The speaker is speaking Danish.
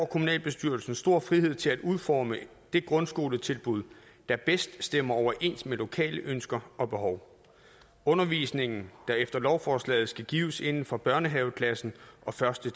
kommunalbestyrelserne stor frihed til at udforme det grundskoletilbud der bedst stemmer overens med lokale ønsker og behov undervisningen der efter lovforslaget skal gives inden for børnehaveklassen og første